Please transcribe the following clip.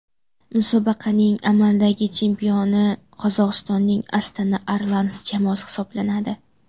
Musobaqaning amaldagi chempioni Qozog‘istonning Astana Arlans jamoasi hisoblanadi.